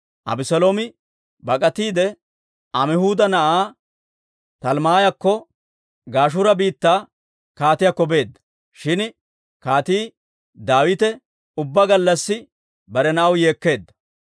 Abeseeloomi bak'atiide, Amihuuda na'aa Talmmaayakko, Gashuura biittaa kaatiyaakko beedda; shin Kaatii Daawite ubbaa gallassi bare na'aw yeekkeedda.